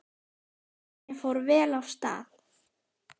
Kornið fór vel af stað.